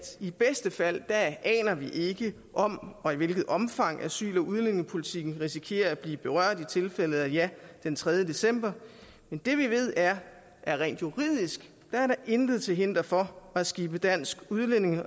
i bedste fald aner vi ikke om og i hvilket omfang asyl og udlændingepolitikken risikerer at blive berørt i tilfælde af et ja den tredje december men det vi ved er at rent juridisk er der intet til hinder for at skibe dansk